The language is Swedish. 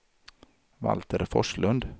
Valter Forslund